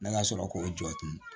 Ne ka sɔrɔ k'o jɔ tun